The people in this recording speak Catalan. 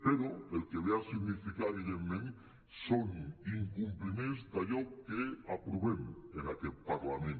però el que ve a significar evidentment són incompliments d’allò que aprovem en aquest parlament